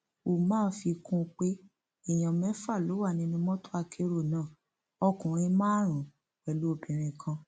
umar fi kún un pé èèyàn mẹfà ló wà nínú mọtò akérò náà ọkùnrin márùnún pẹlú obìnrin kan